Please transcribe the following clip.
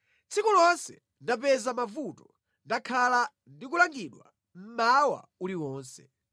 Tsiku lonse ndapeza mavuto; ndakhala ndi kulangidwa mmawa uliwonse.